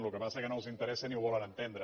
el que passa que no els interessa ni ho volen entendre